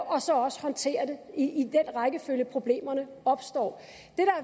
og så også håndtere det i den rækkefølge problemerne opstår